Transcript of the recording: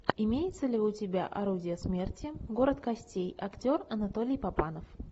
имеется ли у тебя орудие смерти город костей актер анатолий папанов